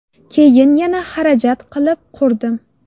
Keyin yana xarajat qilib qurdim.